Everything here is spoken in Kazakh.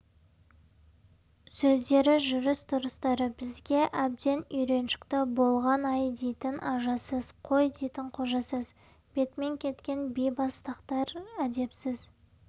сөздері жүріс-тұрыстары бізге әбден үйреншікті болған ай дейтін ажасыз қой дейтін қожасыз бетімен кеткен бейбастақтар әдепсіз